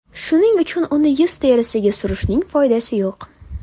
Shuning uchun uni yuz terisiga surishning foydasi yo‘q.